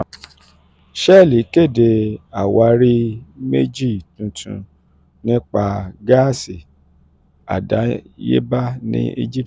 shell kéde àwárí méjì tuntun nípa gáàsì àdáyébá ní egypt